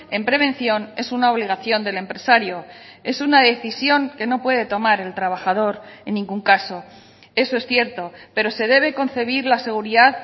en prevención es una obligación del empresario es una decisión que no puede tomar el trabajador en ningún caso eso es cierto pero se debe concebir la seguridad